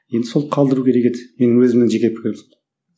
енді сол қалдыру керек еді менің өзімнің жеке пікірім сол